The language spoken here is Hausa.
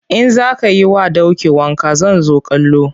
In za ka yi wa doki wanka zan zo kallo.